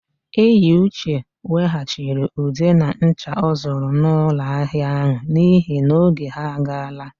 Eyiuche weghachiri ude na ncha ọ zụrụ n'ụlọahịa áhụ̀ n'ihi na oge ha agaala.